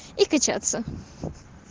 и качаться